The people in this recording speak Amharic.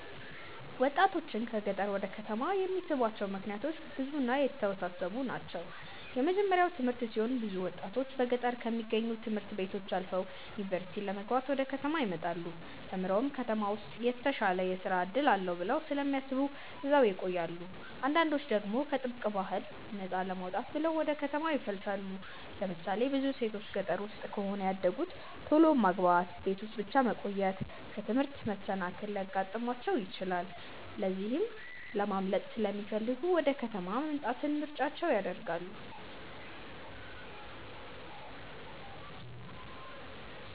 ወጣቶችን ከገጠር ወደ ከተማ የሚስቧቸው ምክንያቶች ብዙ እና የተወሳሰቡ ናቸው። የመጀመርያው ትምህርት ሲሆን ብዙ ወጣቶች በገጠር ከሚገኙ ት/ቤቶች አልፈው ዩኒቨርሲቲ ለመግባት ወደ ከተማ ይመጣሉ። ተምረውም ከተማ ውስጥ የተሻለ የስራ እድል አለ ብለው ስለሚያስቡ እዛው ይቆያሉ። አንዳንዶች ደግሞ ከጥብቅ ባህል ነፃ ለመውጣት ብለው ወደ ከተማ ይፈልሳሉ። ለምሳሌ ብዙ ሴቶች ገጠር ውስጥ ከሆነ ያደጉት ቶሎ ማግባት፣ ቤት ውስጥ ብቻ መቆየት፣ ከትምህርት መሰናከል ሊያጋጥማቸው ይችላል። ከዚህ ለማምለጥ ሲለሚፈልጉ ወደ ከተማ መምጣትን ምርጫቸው ያደርጋሉ።